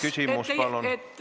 Küsimus, palun!